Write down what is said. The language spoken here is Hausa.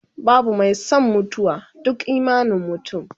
babu Mai San mutuwa, duk imanin mutum